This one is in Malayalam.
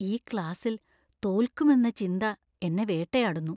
ഈ ക്ലാസ്സിൽ തോൽക്കുമെന്ന ചിന്ത എന്നെ വേട്ടയാടുന്നു.